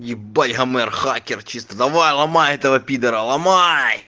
ебать гомер хакер чисто давай ломай этого пидора ломай